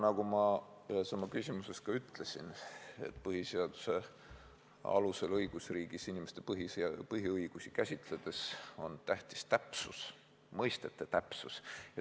Nagu ma ühes oma küsimuses ütlesin, on õigusriigis põhiseaduse alusel inimeste põhiõigusi käsitledes tähtis täpsus, mõistete täpsus.